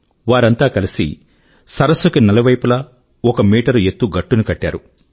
వారంతా కలిసి సరస్సు కి నలువైపులా ఒక మీటరు ఎత్తు గట్టుని కట్టారు